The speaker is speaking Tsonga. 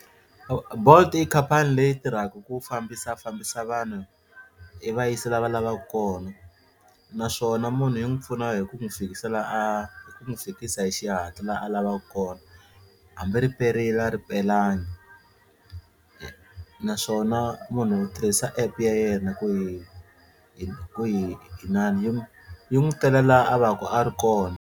Bolt i khampani leyi tirhaka ku fambisafambisa vanhu yi va yisa la va lavaka kona naswona munhu yi n'wi pfuna hi ku n'wi fikisa la a hi ku n'wi fikisa hi xihatla la a lavaka kona hambi ri perile a ri pelangi naswona munhu u tirhisa app ya yena ku hi hi ku hi inana yi n'wi tela la a vaku a ri kona.